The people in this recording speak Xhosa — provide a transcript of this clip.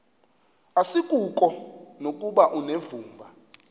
asikuko nokuba unevumba